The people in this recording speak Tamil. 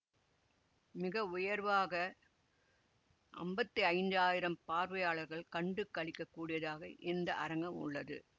மிகவுயர்வாக அம்பத்தி ஐந்ஜாயிரம் பார்வையாளர்கள் கண்டு களிக்கக் கூடியதாக இந்த அரங்கம் உள்ளது